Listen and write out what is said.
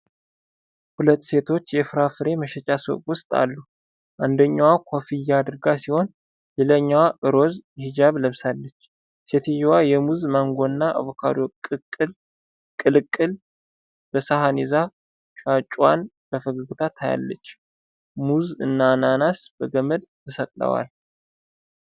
ሁለት ሴቶች የፍራፍሬ መሸጫ ሱቅ ውስጥ አሉ። አንደኛዋ ኮፍያ አድርጋ ሲሆን፣ ሌላኛዋ ሮዝ ሂጃብ ለብሳለች። ሴትየዋ የሙዝ፣ ማንጎና አቮካዶ ቅልቅል በሰሀን ይዛ ሻጩዋን በፈገግታ ታያለች። ሙዝ እና አናናስ በገመድ ተሰቅለዋል።